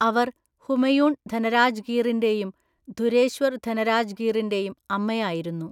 അവർ ഹുമയൂൺ ധനരാജ് ഗീറിന്റെയും ധുരേശ്വര്‍ ധനരാജ് ഗീറിന്റെയും അമ്മയായിരുന്നു.